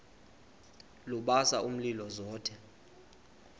lubasa umlilo zothe